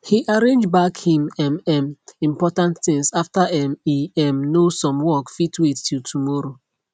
he arrangeback him um um important things after um e um know some work fit wait till tomorrow